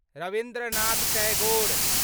Rabindranath Tagore